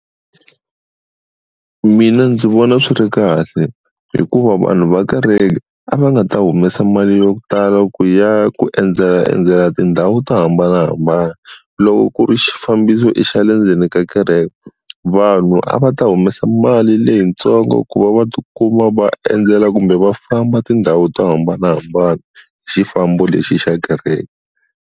Mina ndzi vona swi ri kahle hikuva vanhu va kareke a va nga ta humesa mali yo tala ku ya ku endzela endzela tindhawu to hambanahambana loko ku ri xifambiso i xa le ndzeni ka kereke vanhu a va ta humesa mali leyitsongo ku va va ti kuma va endzela kumbe va famba tindhawu to hambanahambana hi xifambo lexi xa kereke.